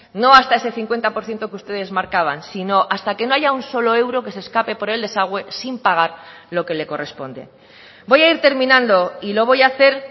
no hasta ese cincuenta por ciento que ustedes marcaban sino hasta que no allá un solo euro que se escape por el desagüé sin pagar lo que le corresponde voy a ir terminando y lo voy a hacer